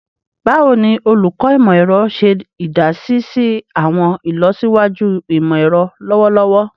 Bawo ni Olukọ Imọ-ẹrọ ṣe idasi si awọn ilọsiwaju imọ-ẹrọ lọwọlọwọ?